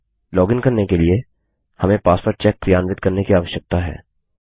login करने के लिए हमें पासवर्ड चेक क्रियान्वित करने की आवश्यकता है